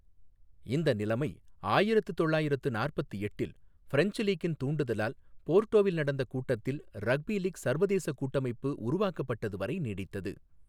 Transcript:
இந்த நிலைமை ஆயிரத்து தொள்ளாயிரத்து நாற்பத்து எட்டில், ஃப்ரெஞ்ச் லீக்கின் தூண்டுதலால், போர்டோவில் நடந்த கூட்டத்தில் ரக்பி லீக் சர்வதேசக் கூட்டமைப்பு உருவாக்கப்பட்டது வரை நீடித்தது.